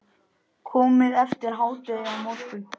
Komið eftir hádegi á morgun.